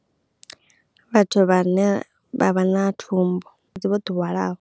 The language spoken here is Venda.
Vhathu vhane vha vha na thumbu Vho ḓi hwalaho.